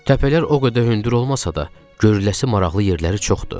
Təpələr o qədər hündür olmasa da, görəlisə maraqlı yerləri çoxdur.